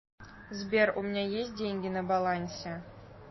сбер у меня есть деньги на балансе